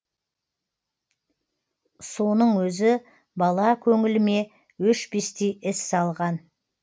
соның өзі бала көңіліме өшпестей із салған